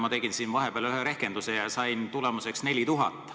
Ma tegin siin vahepeal ühe rehkenduse ja sain tulemuseks 4000.